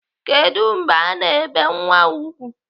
Kedụ mgbe ana ebe nwa a ùgwù?